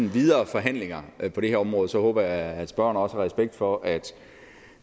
videre forhandlinger på det her område håber jeg at spørgeren også har respekt for at